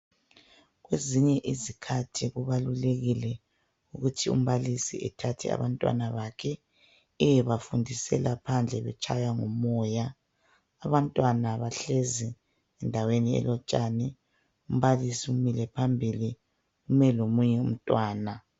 Kwezinye izikhathi kubalulekile ukuthi umbalisi ethathw abantwana bakhe ayebafundisela phandle betshaywa ngumoya. Abantwana bahlezi endaweni elotshani, umbalisi umile phambili. Ume lomunye umntwana.